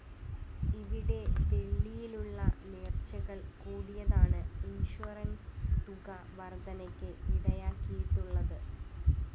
ഇവിടെ വെളളിയിലുളള നേര്‍ച്ചകള്‍ കൂടിയതാണ് ഇന്‍ഷ്വറന്‍സ് തുക വര്‍ദ്ധനയ്ക്ക് ഇടയാക്കിയിട്ടുളളത്